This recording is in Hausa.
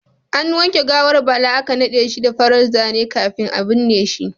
An wanke gawar Bala aka nade shi da farar zane kafin a binne shi.